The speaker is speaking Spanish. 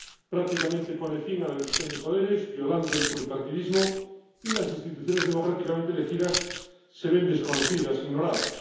Prácticamente pone fin a la división de poderes, violando el pluripartidismo, y las instituciones democráticamente elegidas se ven desconocidas, ignoradas.